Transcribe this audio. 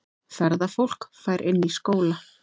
Ferðafólk fær inni í skóla